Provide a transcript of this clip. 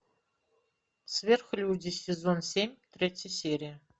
сверхлюди сезон семь третья серия